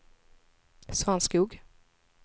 Svanskog